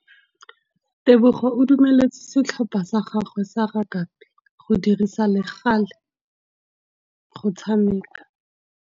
Tebogô o dumeletse setlhopha sa gagwe sa rakabi go dirisa le galê go tshameka.